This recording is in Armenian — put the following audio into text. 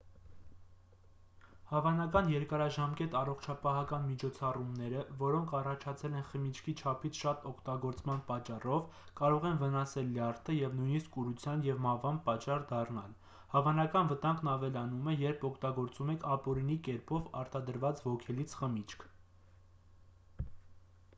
հավանական երկարաժամկետ առողջապահական միջոցառումները որոնք առաջացել են խմիչքի չափից շատ օգտագործման պատճառով կարող են վնասել լյարդը և նույնիսկ կուրության և մահվան պատճառ դառնալ հավանական վտանգն ավելանում է երբ օգտագործում եք ապօրինի կերպով արտադրված ոգելից խմիչք